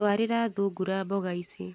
Twarira thungura mboga ici.